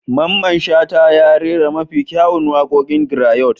Mamman Shata ya rera mafi kyawun waƙoƙin grayot.